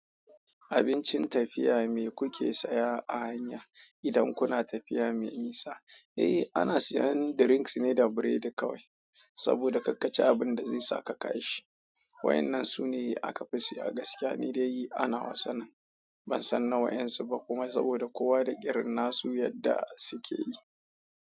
Abincin tafiya me kuke saya a hanya idan kuna tafiya mai nisa? Eh, ana siyan drinks ne da biredi kawai, saboda kakkaci abin da zai saka kashi. Waɗannan su ne aka fi siyan a gaskiya, ni dai ana wa sanin ban san na waƴansu ba kuma saboda kowa da ƙirnansu yadda suke yi.